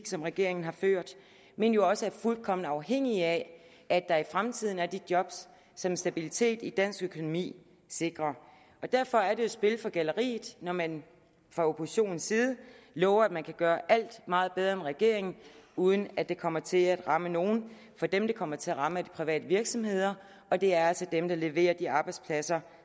som regeringen har ført men jo også er fuldkommen afhængig af at der i fremtiden er de job som stabiliteten i dansk økonomi sikrer derfor er det jo spil for galleriet når man fra oppositionens side lover at man kan gøre alt meget bedre end regeringen uden at det kommer til at ramme nogen for dem det kommer til at ramme er de private virksomheder og det er altså dem der leverer de arbejdspladser